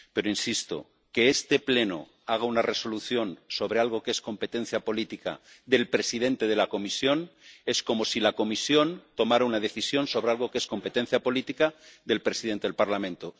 Pero —insisto— que este Pleno haga una resolución sobre algo que es competencia política del presidente de la Comisión es como si la Comisión tomara una decisión sobre algo que es competencia política del presidente del Parlamento.